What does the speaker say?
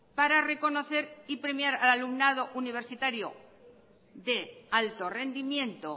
para reconocer y premiar al alumnado universitario de alto rendimiento